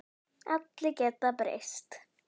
Allir geta breyst.